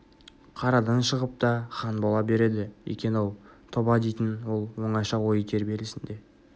қарадан шығып та хан бола береді екен-ау тоба дейтін ол оңаша ой тербелісінде